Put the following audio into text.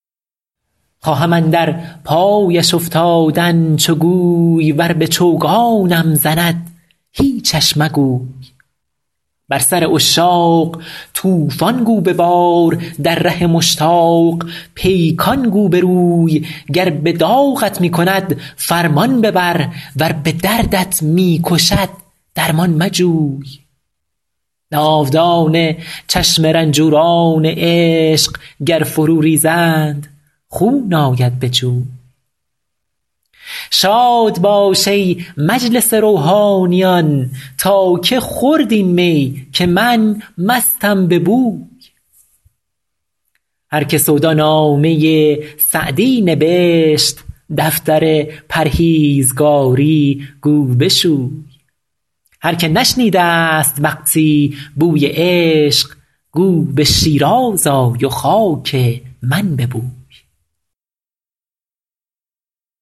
خواهم اندر پایش افتادن چو گوی ور به چوگانم زند هیچش مگوی بر سر عشاق طوفان گو ببار در ره مشتاق پیکان گو بروی گر به داغت می کند فرمان ببر ور به دردت می کشد درمان مجوی ناودان چشم رنجوران عشق گر فرو ریزند خون آید به جوی شاد باش ای مجلس روحانیان تا که خورد این می که من مستم به بوی هر که سودا نامه سعدی نبشت دفتر پرهیزگاری گو بشوی هر که نشنیده ست وقتی بوی عشق گو به شیراز آی و خاک من ببوی